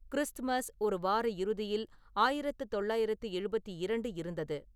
Christmas ஒரு வார இறுதியில் ஆயிரத்து தொள்ளாயிரத்து எழுபத்தி இரண்டு இருந்தது